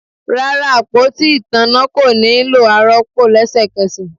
Rara, apoti itanna ko nilo aropo lẹsẹkẹsẹ